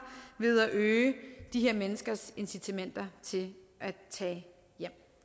ved at øge de her menneskers incitamenter til at tage hjem